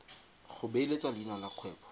go beeletsa leina la kgwebo